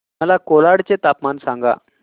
मला कोलाड चे तापमान सांगा